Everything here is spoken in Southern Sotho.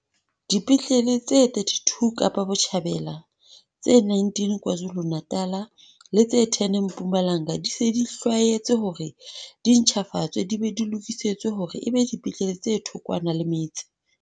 Dipetlele tse 32 Kapa Botjhabela, tse 19 KwaZulu-Natal le tse 10 Mpumalanga di se di hlwaetswe hore di ntjhafatswe di be di lokisetswe hore e be dipetlele tse thokwana le metse.